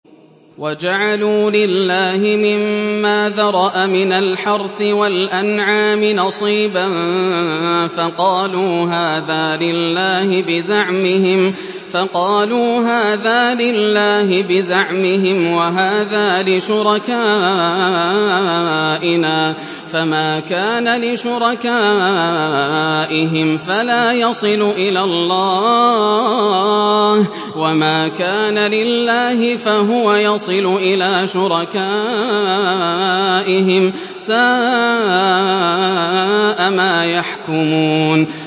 وَجَعَلُوا لِلَّهِ مِمَّا ذَرَأَ مِنَ الْحَرْثِ وَالْأَنْعَامِ نَصِيبًا فَقَالُوا هَٰذَا لِلَّهِ بِزَعْمِهِمْ وَهَٰذَا لِشُرَكَائِنَا ۖ فَمَا كَانَ لِشُرَكَائِهِمْ فَلَا يَصِلُ إِلَى اللَّهِ ۖ وَمَا كَانَ لِلَّهِ فَهُوَ يَصِلُ إِلَىٰ شُرَكَائِهِمْ ۗ سَاءَ مَا يَحْكُمُونَ